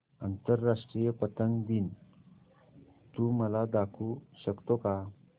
आंतरराष्ट्रीय पतंग दिन तू मला दाखवू शकतो का